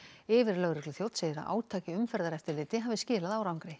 yfirlögregluþjónn segir að átak í umferðareftirliti hafi skilað árangri